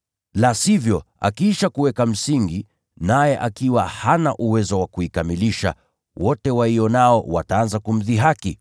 La sivyo, akiisha kuweka msingi, naye akiwa hana uwezo wa kuikamilisha, wote waionao wataanza kumdhihaki,